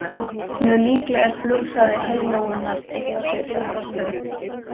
Mjög líklega er flughraði heiðlóunnar eitthvað svipaður.